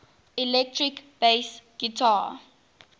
electric bass guitar